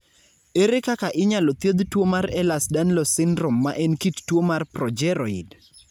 Ere kaka inyalo thiedh tuwo mar Ehlers Danlos syndrome ma en kit tuo mar progeroid?